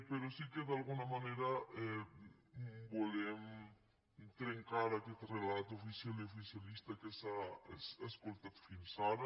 però sí que d’alguna manera volem trencar aquest relat oficial i oficialista que s’ha escoltat fins ara